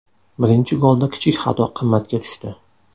Birinchi golda kichik xato qimmatga tushdi.